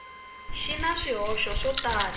xi na swihoxo swo tala